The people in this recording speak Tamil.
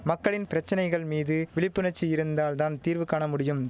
மக்களின் பிரச்சனைகள் மீது விழிப்புணர்ச்சி இருந்தால் தான் தீர்வு காண முடியும்